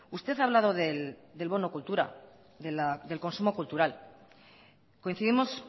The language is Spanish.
usted ha hablado del bono cultura del consumo cultural coincidimos